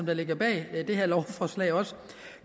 der ligger bag det her lovforslag også